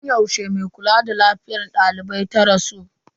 Tun yaushe mai kula da lafiyar daliban ta rasu?